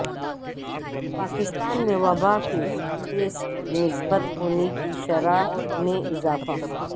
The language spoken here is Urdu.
پاکستان میں وبا کے ٹیسٹ مثبت ہونے کی شرح میں اضافہ